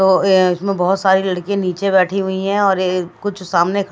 तो इसमें बहुत सारी लड़कियां नीचे बैठी हुई हैं और ये कुछ सामने--